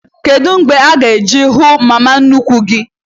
Kedụ mgbe ị ga- eje hụ mama nnukwu gị?